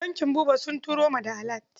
Bankin Buba sun turo ma da alat.